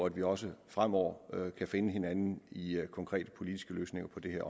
at vi også fremover kan finde hinanden i konkrete politiske løsninger på det her